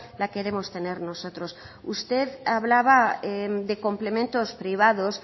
la queremos tener nosotros usted hablaba de complementos privados